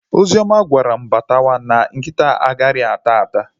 Ozioma gwara m batawa na nkịta ha a ghaghị ata ata